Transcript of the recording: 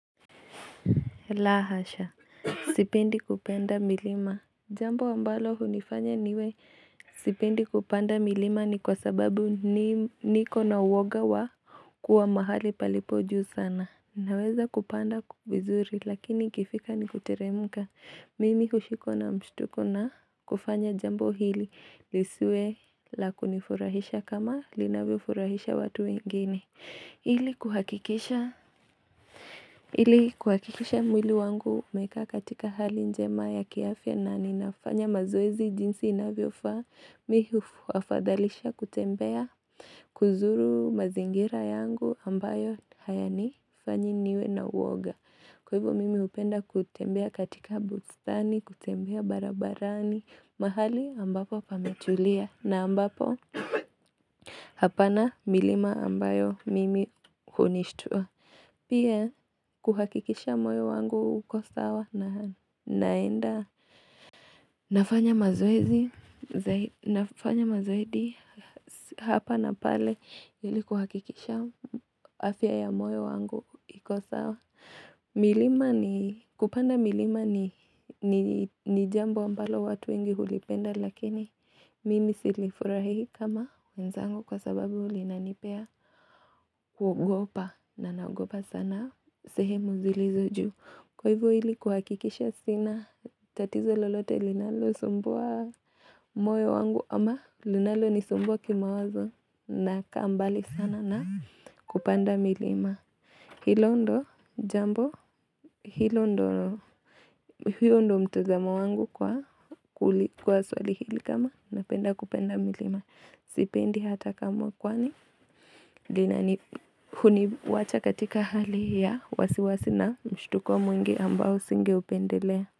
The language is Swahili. La hasha sipendi kupenda milima jambo ambalo hunifanya niwe sipendi kupanda milima ni kwa sababu niko na uoga wa kuwa mahali palipojuu sana naweza kupanda vizuri lakini ikifika ni kuteremka mimi hushikwa na mshtuko na kufanya jambo hili lisiwe la kunifurahisha kama linavyo furahisha watu wengine ili kuhakikisha ili kuhakikisha mwili wangu umekaa katika hali njema ya kiafya na ninafanya mazoezi jinsi inavyofaa Mi hu wafadhalisha kutembea kuzuru mazingira yangu ambayo hayani fanyi niwe na uoga Kwa hivyo mimi hupenda kutembea katika bustani, kutembea barabarani, mahali ambapo pametulia na ambapo hapana milima ambayo mimi hunishtua Pia kuhakikisha moyo wangu uko sawa na naenda nafanya mazoezi nafanya mazoe di hapa na pale ili kuhakikisha afya ya moyo wangu iko sawa. Milima ni kupanda milima ni jambo ambalo watu wengi hulipenda lakini mimi silifurahii kama wenzangu kwa sababu linanipea kuogopa na naogopa sana. Na sehemu zilizo juu. Kwa hivo hili kuhakikisha sina. Tatizo lolote linalo sumbua moyo wangu. Ama linalo ni sumbua kima wazo. Na kaa mbali sana na kupanda milima. Hilo ndo jambo. Hilo ndo mtazamo wangu kwa swali hili kama. Na penda kupanda milima. Sipendi hata kamwe kwani. Lina ni huniwacha katika hali ya. Wasiwasina mshtuko mwingi ambao singeupendelea.